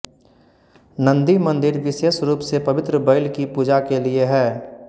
नंदी मंदिर विशेष रूप से पवित्र बैल की पूजा के लिए है